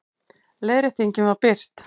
Leiðréttingin var birt